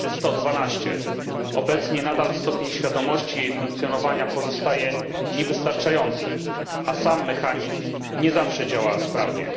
112. Obecnie nadal stopień świadomości jej funkcjonowania pozostaje niewystarczający, a sam mechanizm nie zawsze działa sprawnie.